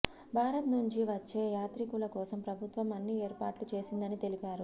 భారత్ నుంచి వచ్చే యాత్రీకుల కోసం ప్రభుత్వం అన్ని ఏర్పాట్లు చేసిందని తెలిపారు